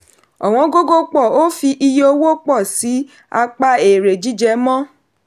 ọ̀wọ́n gógó pọ̀ o fi iye owó pọ̀ sí pa èrè jíjẹ mọ́.